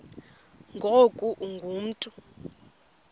ngoku ungu mntu